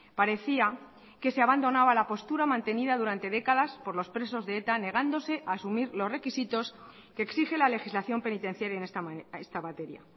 parecía que se abandonaba la postura mantenida durante décadas por los presos de eta negándose a asumir los requisitos que exige la legislación penitenciaria en esta materia